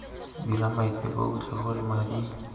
dira maiteko otlhe gore madi